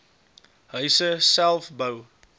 huise self bou